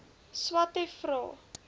swathe vra